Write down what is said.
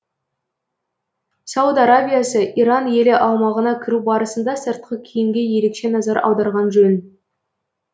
сауд арабиясы иран елі аумағына кіру барысында сыртқы киімге ерекше назар аударған жөн